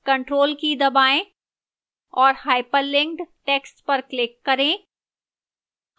ctrl की दबाएं और hyperlinked text पर click करें